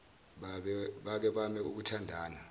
bake bame ukuthandana